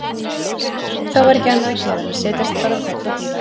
Þá var ekki annað að gera en að setjast bara á koll og bíða.